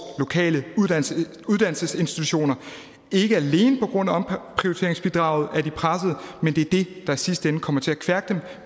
lokale uddannelsesinstitutioner ikke alene på grund af omprioriteringsbidraget er de presset men det er det der i sidste ende kommer til at kværke dem